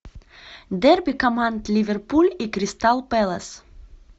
дерби команд ливерпуль и кристал пэлас